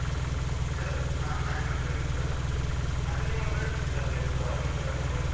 ಯಾವುದು ಹ maximum try ಮಾಡ್ತೀರಾ ಮತ್ತೆ ನಿಮ್ಮ friends ಇದ್ದಾರಲ್ಲ ಇಬ್ಬರು ಅವರನ್ನುಸ ಕರ್ಕೊಂಡು ಬನ್ನಿ.